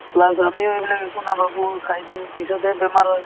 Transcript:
plus আমিও এইবিলাক একো নাভাবো খাই দিও পিছতহে বেমাৰ হয়